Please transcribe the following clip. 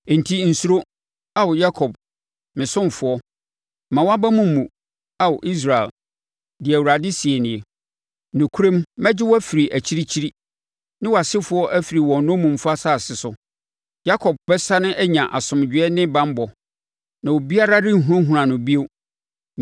“ ‘Enti nsuro, Ao Yakob, me ɔsomfoɔ; mma wʼaba mu mmu, Ao Israel,’ deɛ Awurade seɛ nie. ‘Nokorɛm mɛgye wo afiri akyirikyiri, ne wʼasefoɔ afiri wɔn nnommumfa asase so. Yakob bɛsane anya asomdwoeɛ ne banbɔ na obiara renhunahuna no bio.